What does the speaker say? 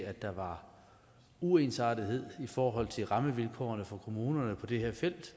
at der var uensartethed i forhold til rammevilkårene for kommunerne på det her felt